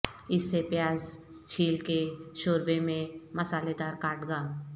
اس سے پیاز چھیل کے شوربے میں مسالیدار کاٹ گا